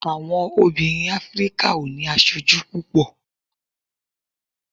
àwọn obìnrin áfríkà o ni aṣoju púpò